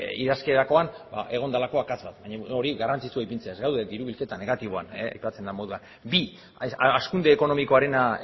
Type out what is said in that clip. idazterakoan egon delako akatsa baina hori garrantzitsua da aipatzea ez gaude diru bilketa negatiboan aipatzen de moduan bi hazkunde ekonomikoarena